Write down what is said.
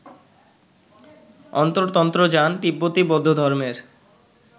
অন্তর্তন্ত্রযান তিব্বতী বৌদ্ধধর্মের